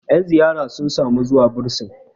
yan ziyara suna zuwa bursin